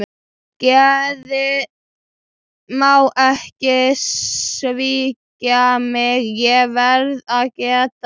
Geðið má ekki svíkja mig, ég verð að gæta mín.